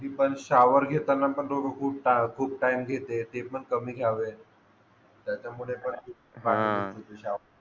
shower घेताना पण लोकं खूप टाईम घेते ते पण कमी घ्यावे त्याच्यामुळे पण पाणी